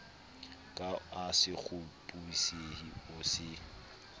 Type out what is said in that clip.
ka a sekgopisehe o se